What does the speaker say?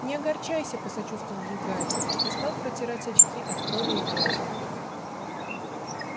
не огорчайся посочувствовал ей гарри и стал протирать очки от крови и грязи